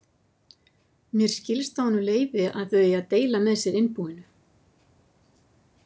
Mér skilst á honum Leifi að þau eigi að deila með sér innbúinu.